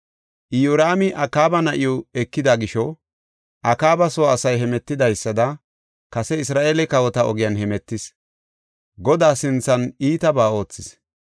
Iyoraami Akaaba na7iw ekida gisho Akaaba soo asay hemetidaysada kase Isra7eele kawota ogiyan hemetis; Godaa sinthan iitabaa oothis.